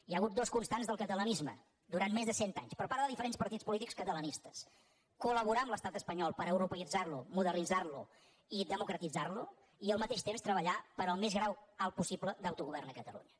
hi ha hagut dues constants del catalanisme durant més de cent anys per part de diferents partits polítics catalanistes col·peïtzar lo modernitzar lo i democratitzar lo i al mateix temps treballar per al més alt grau possible d’autogovern a catalunya